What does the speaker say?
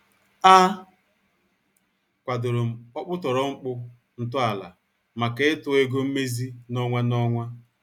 A kwadorom okputoro mkpu ntọala maka ịtụ ego mmezi n' ọnwa n' ọnwa.